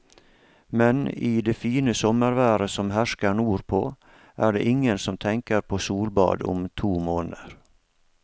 Men i det fine sommerværet som hersker nordpå, er det ingen som tenker på solbad om to måneder.